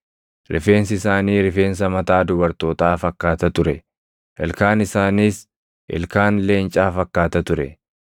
Rifeensi isaanii rifeensa mataa dubartootaa fakkaata ture; ilkaan isaaniis ilkaan leencaa fakkaata ture.